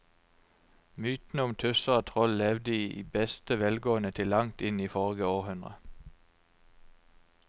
Mytene om tusser og troll levde i beste velgående til langt inn i forrige århundre.